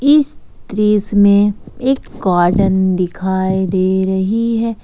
इस दृश्य में एक गॉर्डन दिखाई दे रही है।